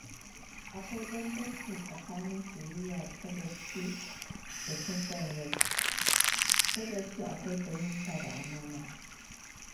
Akwai bambanci tsakanin soyayya ta gaske da son rai; ta gaske akwai fahimta da amana.